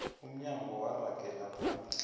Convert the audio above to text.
umnyango waragela phambili